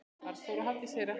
Arnþór og Hafdís Hera.